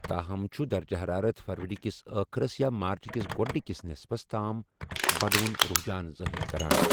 تاہم چھُ درجہ حرارت فروری کِس ٲخرس یا مارچ کس گۄڑنِکِس نصفس تام بڑوُن رحجان ظٲہِر کران۔